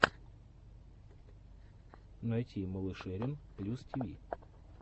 найти малышерин плюс тиви